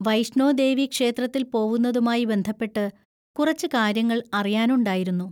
വൈഷ്ണോ ദേവി ക്ഷേത്രത്തിൽ പോവുന്നതുമായി ബന്ധപ്പെട്ട് കുറച്ച് കാര്യങ്ങൾ അറിയാനുണ്ടായിരുന്നു.